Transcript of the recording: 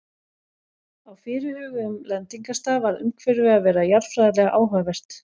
Á fyrirhuguðum lendingarstað varð umhverfið að vera jarðfræðilega áhugavert.